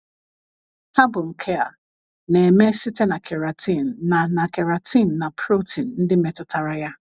Ha bụ nke a na - eme site na keratin na na keratin na protein ndị metụtara ya.